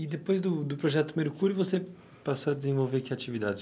E depois do do Projeto Mercúrio, você passou a desenvolver que atividades?